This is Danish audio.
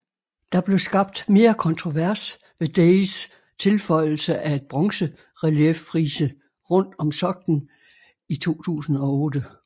Der blev skabt mere kontrovers ved Days tilføjelse af et bronzerelieffrise rundt om soklen i 2008